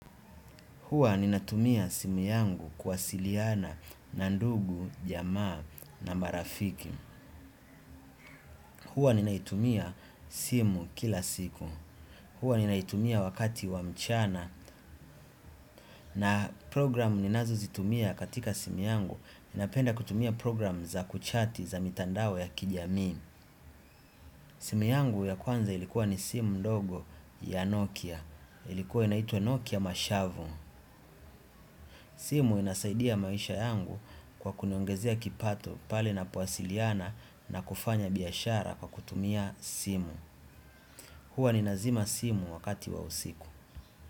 Huwa ninatumia simu yangu kuwasiliana na ndugu, jamaa na marafiki. Huwa ninaitumia simu kila siku. Huwa ninaitumia wakati wa mchana na programu ninazozitumia katika simu yangu. Napenda kutumia programu za kuchati za mitandao ya kijamii. Simu yangu ya kwanza ilikuwa ni simu ndogo ya Nokia. Ilikuwa inaituwa Nokia Mashavo. Simu inasaidia maisha kwa kuniongezea kipato pale ninapowasiliana na kufanya biashara kwa kutumia simu. Hua ni nazima simu wakati wa usiku.